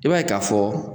I b'a ye k'a fɔ